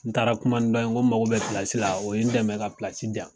N taara kuma ni dɔ ye nko mago bɛ la, o ye n dɛmɛ ka diyan.